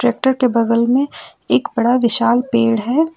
Tractor के बगल में एक बड़ा विशाल पेड़ है।